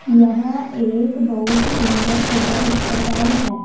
यह एक बहुत सुंदर सदर अस्पताल है।